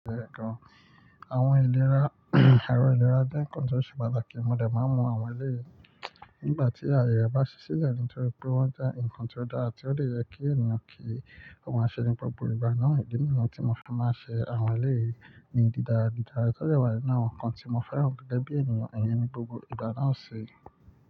Àwọn ìlera, àárọ̀ ìlera jẹ́ nnkan tó ṣe pàtàkì, mo dà máa ń mu àwọn eléyìí nígbà tí àyè re bá ṣí silẹ́ nítorí pé wọ́n jẹ́ nnkan tó dára tí ó dè yẹ kí ènìyàn kí ó má ṣe ní gbogbo ìgbáná ìdí nìyẹn tí mo fi máa ń ṣe àwọn eléyìí ní dídara dídara, tọ́ je wa nínú àwọn nǹkan tí mo fẹ́ràn gẹ́gẹ́ bí ènìyàn, iyẹn ni gbogbo ìdáná ṣe.